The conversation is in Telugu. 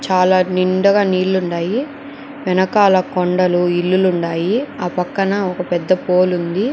చాలా నిండుగా నీళ్లు ఉన్నాయి వెనకాల కొండలు ఇల్లులు ఉన్నాయి ఆ పక్కన ఒక పెద్ద పోల్ ఉంది.